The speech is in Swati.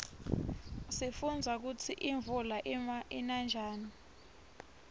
sifundza kutsi imuula ina njani